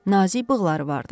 Nazik bığları vardı.